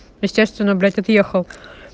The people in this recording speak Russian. естественно блять отъехал